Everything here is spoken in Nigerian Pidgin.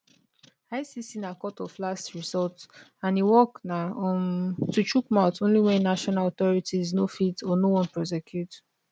icc na court of last resort and e work na um to chook mouth only wen national authorities no fit or no wan prosecute